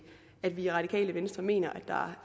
at vi i radikale venstre mener at der